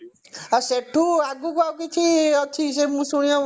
ହଁ ସେଠୁ ଆଗକୁ ଆଉ କିଛି ଅଛି କି ସେ ମୁଁ ଶୁଣିବାକୁ